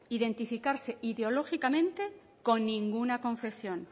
identificarse ideológicamente con ninguna confesión